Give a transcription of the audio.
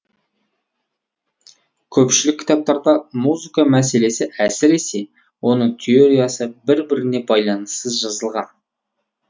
көпшілік кітаптарда музыка мәселесі әсіресе оның теориясы бір біріне байланыссыз жазылған